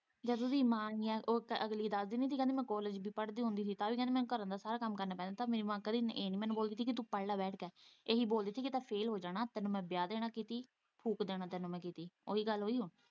ਜਦ ਉਹਦੀ ਮਾਂ ਇੰਨੀਆਂ ਉਹ ਅਗਲੀ ਦੱਸਦੀ ਸੀ ਕਿ ਮੈਂ ਕਾਲਜ ਵੀ ਪੜ੍ਹਦੀ ਹੁੰਦੀ ਸੀ ਕਿ ਤਾਂ ਵੀ ਮੈਨੂੰ ਘਰੇ ਦਾ ਸਾਰਾ ਕੰਮ ਕਰਨੇ ਪੈਂਦਾ ਪਰ ਮੇਰੀ ਮਾਂ ਕਦੀ ਮੈਨੂੰ ਇਹ ਨੀ ਬੋਲਦੀ ਸੀ ਕਿ ਤੂੰ ਪੜ੍ਹ ਲੈ ਬੈਠ ਕੇ ਇਹੀ ਬੋਲਦੀ ਸੀ ਕਿ ਨਹੀਂ ਤਾਂ ਫ਼ੇਲ ਹੋ ਜਾਣਾ ਤੈਨੂੰ ਮੈਂ ਵਿਆਹ ਦੇਂਣਾ ਕੀਤੀ ਫੁੱਕ ਦੇਣਾ ਤੈਨੂੰ ਮੈਂ ਕੀਤੀ।